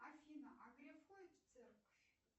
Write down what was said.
афина а греф ходит в церковь